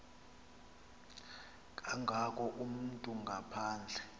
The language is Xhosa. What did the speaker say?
kangako umntu ngaphandle